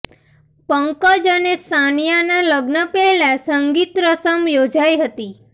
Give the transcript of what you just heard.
પંકજ અને સાનિયાના લગ્ન પહેલા સંગીત રસમ યોજાઇ હતી